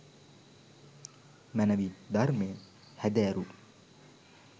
මැනැවින් ධර්මය හැදෑරූ